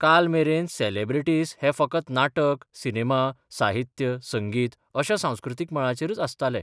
काल मेरेन सेलेब्रेटिस हे फकत नाटक, सिनेमा, साहित्य, संगीत अश्या सांस्कृतीक मळाचेरच आसताले.